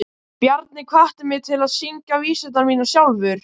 Bjarni hvatti mig til að syngja vísurnar mínar sjálfur.